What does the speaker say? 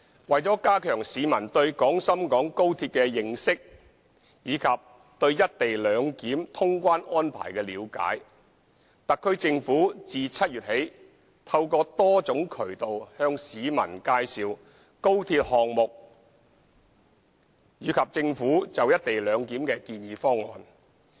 為了加強市民對廣深港高鐵的認識及對"一地兩檢"通關安排的了解，特區政府自7月起透過多種渠道向市民介紹高鐵項目及政府就"一地兩檢"的建議方案。